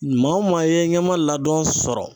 Maa o maa ye ɲɛma ladɔn sɔrɔ